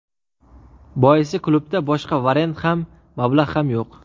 Boisi klubda boshqa variant ham, mablag‘ ham yo‘q.